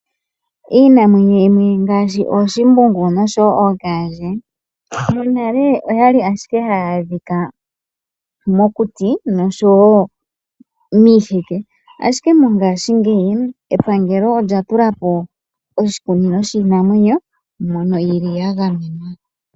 Iinamwenyo yimwe ngaashi oshimbungu noshowo ookandje monale oyali ashike haya adhika mokuti noshowo miiheke. Ashike mongashingeyi epangelo olya tulapo oshikunino shiinamwenyo mono yili ya gamenwa.